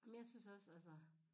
Men jeg synes også altså